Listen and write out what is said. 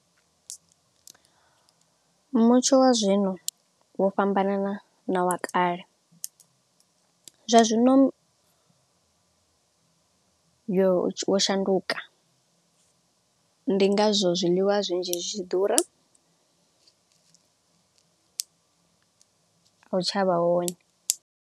Mutsho wa zwino vho fhambana na wa kale, zwa zwino yo shanduka. Ndi ngazwo zwiḽiwa zwinzhi zwi tshi ḓura a u tshavha wone.